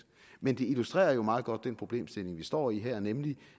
men det illustrerer jo meget godt den problemstilling vi står i her nemlig